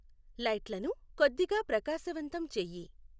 లైట్లను కొద్దిగా ప్రకాశవంతం చెయ్యి